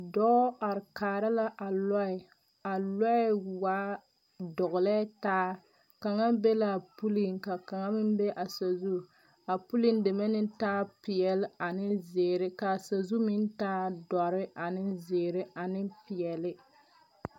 Dɔɔ are kaara la a lɔɛ a lɔɛ waare dɔgelɛɛ taa kaŋa bi la a puliŋ ka kaŋa meŋ saazu a puliŋ deme na taa peɛle ane zeere kaa saazu meŋ taa dɔre a zeere ane peɛle